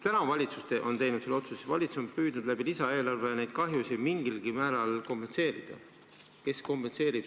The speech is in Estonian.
Valitsus on teinud otsuse ja on püüdnud lisaeelarve abil neid kahjusid mingilgi määral kompenseerida.